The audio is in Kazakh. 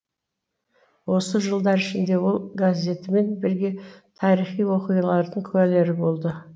осы жылдар ішінде ол газетімен бірге тарихи оқиғалардың куәгері болды